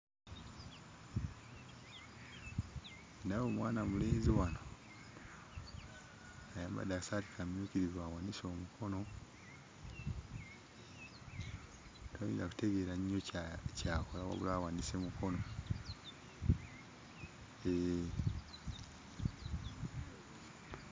Ndaba omwana mulenzi wano ayambadde akasaati kamyukirivu awanise omukono, toyinza kutegeera nnyo kya ky'akola wabula awanise mukono, hee.